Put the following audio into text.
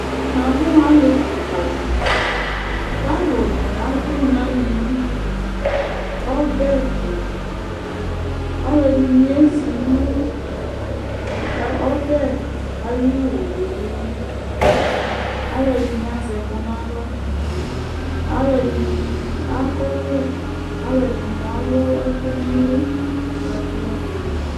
Namʊ alɩ kɩka dɩ, kalʊnɩ abʊ nalɩelɩ Ɔbɛtʊ alʊ ɛdɩnɩ ayɛ zɩ nʊ ɔbɛ ayʊ owʊelɩ Alʊ ɛdɩnɩ azɛ ɛkʊ nawla Alʊ ɛdinɩ akɔ ɔvlɛ Alʊvɛdinɩ alʊ ɛkʊ nɛlʊ kadʊ alɩelɩ